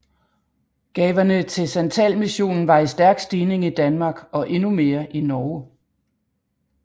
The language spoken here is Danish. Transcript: Gaverne til santalmissionen var i stærk stigning i Danmark og endnu mere i Norge